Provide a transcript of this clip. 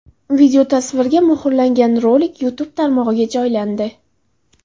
Videotasvirga muhrlangan rolik YouTube tarmog‘iga joylandi .